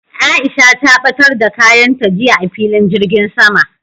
Aisha ta ɓatar da kayan ta jiya a filin jirgin sama